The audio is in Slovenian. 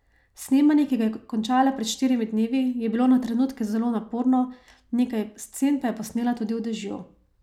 Snemanje, ki ga je končala pred štirimi dnevi, je bilo na trenutke zelo naporno, nekaj scen pa je posnela tudi v dežju.